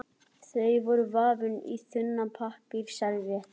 Þau voru vafin inn í þunna pappírsservíettu.